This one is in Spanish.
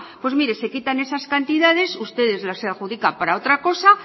pues mire se quiten esas cantidades ustedes las adjudican para otra cosa